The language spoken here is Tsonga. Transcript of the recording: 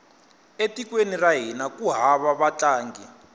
e tikweni ra hina ku hava vatlangi